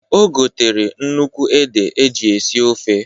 O gotere nnukwu ede eji esi ofe.